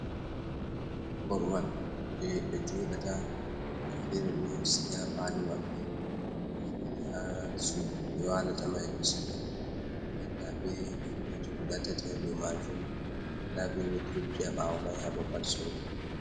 Korwan je ɓe joɗata boe ferre shiga pale wabbe bo be fere ha sudu be walata mai do siga andan da be filoji guga tati ha do majun da be wotropia bawo mai habo pat sorgo.